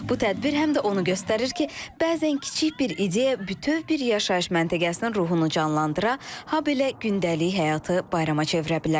Bu tədbir həm də onu göstərir ki, bəzən kiçik bir ideya bütöv bir yaşayış məntəqəsinin ruhunu canlandıra, habelə gündəlik həyatı bayrama çevirə bilər.